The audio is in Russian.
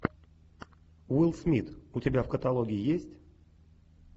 уилл смит у тебя в каталоге есть